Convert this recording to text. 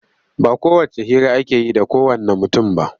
Ba kowacce hira ake yi da kowanne mutum ba.